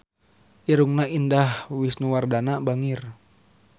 Irungna Indah Wisnuwardana bangir